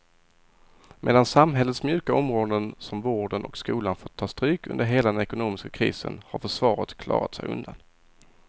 Medan samhällets mjuka områden som vården och skolan fått ta stryk under hela den ekonomiska krisen har försvaret klarat sig undan.